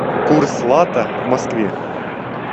курс лата в москве